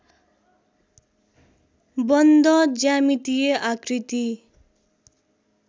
बन्द ज्यामितिय आकृती